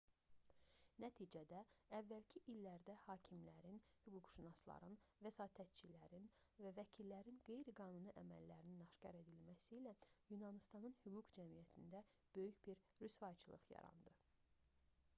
nəticədə əvvəlki illərdə hakimlərin hüquqşünasların vəsatətçilərin və vəkillərin qeyri-qanuni əməllərinin aşkar edilməsi ilə yunanıstanın hüquq cəmiyyətində böyük bir rüsvayçılıq yarandı